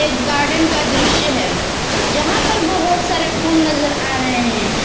एक गार्डेन का दृश्य है जहां पर बहोत सारे फूल नजर आ रहे हैं।